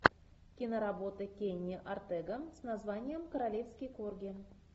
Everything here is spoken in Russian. киноработа кенни ортега с названием королевский корги